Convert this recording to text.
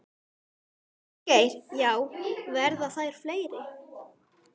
Ásgeir: Já, verða þær fleiri?